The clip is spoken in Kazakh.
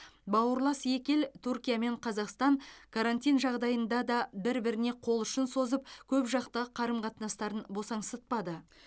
бауырлас екі ел түркия мен қазақстан карантин жағдайында да бір біріне қол ұшын созып көпжақты қарым қатынастарын босаңсытпады